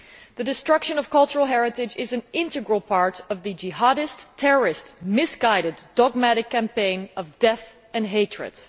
The destruction of cultural heritage is an integral part of the Jihadist terrorist misguided, dogmatic campaign of death and hatred.